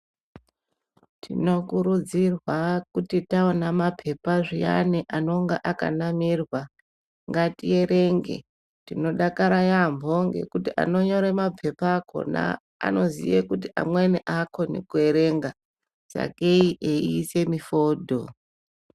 Tinokurudzirwa kuti taona mapepa zviyani anonga akanamirwa, ngatierenge. Tinodakara yaamho ngekuti anonyore mapepa akona anoziye kuti amweni aakoni kuerenga, sakei eiise mifodho.